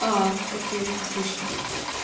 окей отлично